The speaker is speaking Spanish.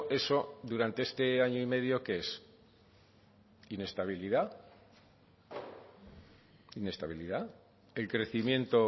eso durante este año y medio qué es inestabilidad inestabilidad el crecimiento